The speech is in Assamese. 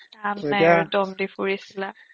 কাম নাই দম দি ফুৰিছিলা